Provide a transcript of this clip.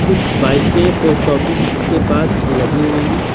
कुछ बाइकें post office के पास लगी हुई हैं ।